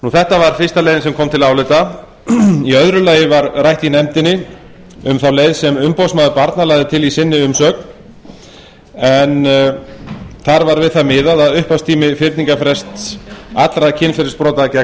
þetta var fyrsta leiðin sem kom til álita í öðru lagi var rætt í nefndinni um þá leið sem umboðsmaður barna lagði til í umsögn sinni en þar var við það miðað að fyrningarfrestur allra kynferðisbrota gegn